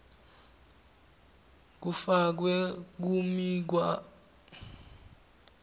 kufakwe kumikhawulo yemitsi